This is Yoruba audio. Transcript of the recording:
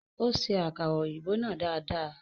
Ó ṣe akara òyìnbó náà dada.